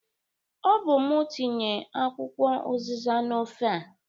Ọ bụ mụ tinye akwụkwọ ụzịza n'ofe a?